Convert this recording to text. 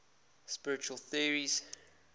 spiritual theories